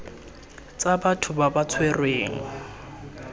tsa batho ba ba tshwerweng